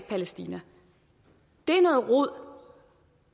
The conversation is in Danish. palæstina det er noget rod